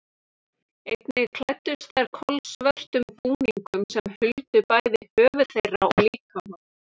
Einnig klæddust þær kolsvörtum búningum sem huldu bæði höfuð þeirra og líkama.